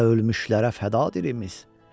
Belə ölmüşlərə fəda dilimiz.